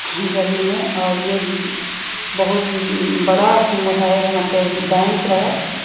गली में और यह बहुत बड़ा है यहां पे बैंक है।